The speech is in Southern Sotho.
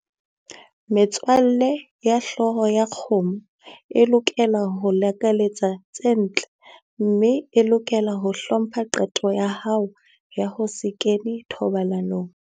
Metswalle ya hlooho ya kgomo e lokela ho o lakaletsa tse ntle mme e lokela ho hlompha qeto ya hao ya ho se kene thobalanong.